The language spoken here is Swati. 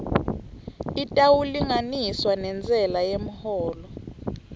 itawulinganiswa nentsela yemholo